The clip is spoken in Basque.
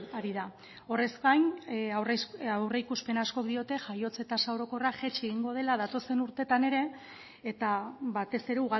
ari da horrez gain aurreikuspen askok diote jaiotze tasa orokorra jaitsi egingo dela datozen urteetan ere eta batez ere